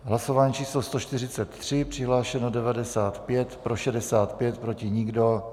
Hlasování číslo 143, přihlášeno 95, pro 65, proti nikdo.